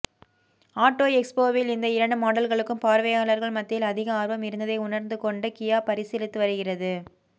auto எக்ஸ்போவில் இந்த இரண்டு மாடல்களுக்கும் பார்வையாளர்கள் மத்தியில் அதிக ஆர்வம் இருந்ததை உணர்ந்து கொண்டு கியா பரிசீலித்து வருகிறது